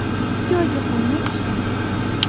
Ikki oyga qolmay ishdan ketdim.